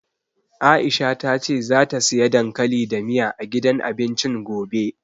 Aisha ta ce zata siya dankali da miya, a gidan abincin gobe.